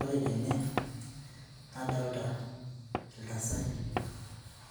Ore ninye nadolta iltasati